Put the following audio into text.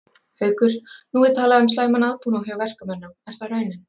Haukur: Nú er talað um slæman aðbúnað hjá verkamönnum, er það raunin?